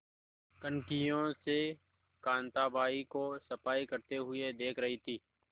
कनखियों से कांताबाई को सफाई करते हुए देख रही थी